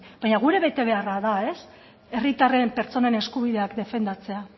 baina gure betebeharra da herritarren pertsonen eskubideak defendatzea